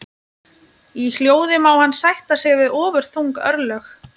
Í hljóði má hann sætta sig við ofurþung örlög.